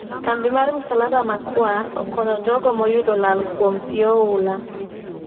Kambi mar msalaba ma kwar okonyo jogo moyudo lal kuom pii oula